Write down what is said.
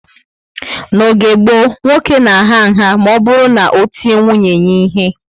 N'oge gboo, nwoke na agha nha ma oburu na o tie nwunye ya ihe